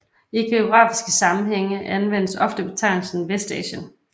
I geografiske sammenhænge anvendes ofte betegnelsen Vestasien